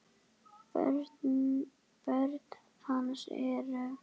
Börn hans eru